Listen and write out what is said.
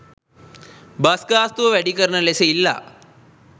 bus ගාස්තුව වැඩි කරන ලෙස ඉල්ලා